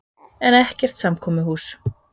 En ekkert samkomuhús.